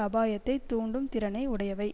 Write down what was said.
அபாயத்தை தூண்டும் திறனை உடையவை